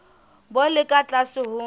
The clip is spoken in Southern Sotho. bo le ka tlase ho